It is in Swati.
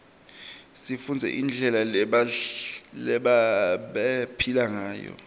sifundze indlela lebabephila nguyo